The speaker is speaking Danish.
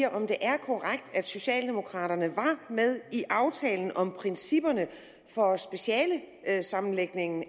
om det er korrekt at socialdemokraterne var med i aftalen om principperne for specialesammenlægningen